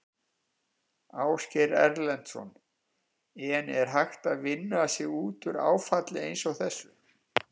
Ásgeir Erlendsson: En er hægt að vinna sig út úr áfalli eins og þessu?